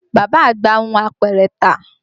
Bàbá àgbà hun apẹ̀rẹ̀ tà